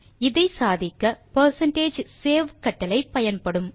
இதை சாதிக்க percentage save கட்டளை பயன்படும்